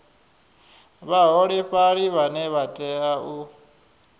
vhaholefhali vhane vha tea u